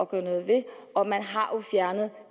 gøre noget ved og man har jo fjernet